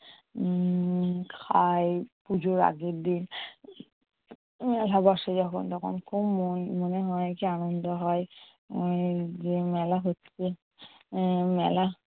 উম খায় পুজোর আগের দিন। একাদশী যখন তখন খুব মন~মনে হয় কি আনন্দ হয়। এই যে মেলা হচ্ছে আহ মেলা